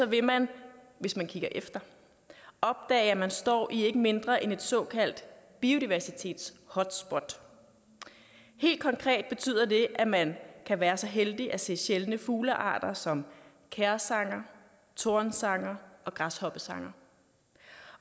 vil man hvis man kigger efter opdage at man står i ikke mindre end et såkaldt biodiversitetshotspot helt konkret betyder det at man kan være så heldig at se sjældne fuglearter som kærsanger tornsanger og græshoppesanger